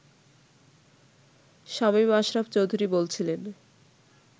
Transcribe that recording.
শামীম আশরাফ চৌধুরী বলছিলেন